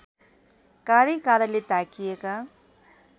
काँडैकाँडाले ढाकिएका